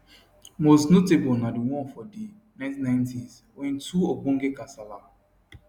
most notable na di one for di 1990s wen two ogbonge kasala